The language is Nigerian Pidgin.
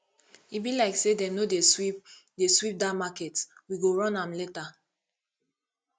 e be like say dem no dey sweep dey sweep dat market we go run am later